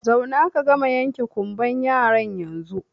Zauna ka gama yanke ƙumban yaran yanzun!